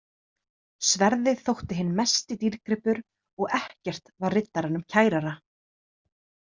Sverðið þótti hinn mesti dýrgripur og ekkert var riddaranum kærara.